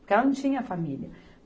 Porque ela não tinha família.